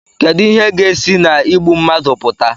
kedu ihe ga-esi na igbu mmadụ pụta